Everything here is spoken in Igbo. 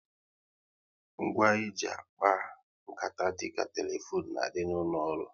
Ngwa e ji akpa nkata dịka telefone n'adi n'ụlọ ọrụ